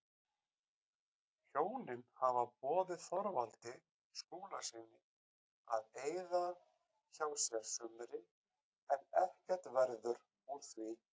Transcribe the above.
Hjónin hafa boðið Þorvaldi Skúlasyni að eyða hjá sér sumri en ekkert verður úr því.